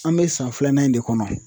An bɛ san filanan in de kɔnɔ